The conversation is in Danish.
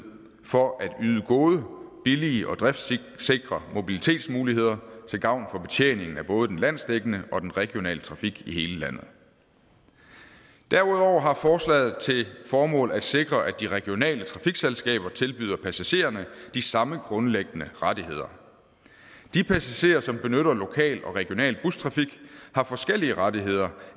for at yde gode billige og driftsikre mobilitetsmuligheder til gavn for betjeningen af både den landsdækkende og den regionale trafik i hele landet derudover har forslaget til formål at sikre at de regionale trafikselskaber tilbyder passagererne de samme grundlæggende rettigheder de passagerer som benytter lokal og regional bustrafik har forskellige rettigheder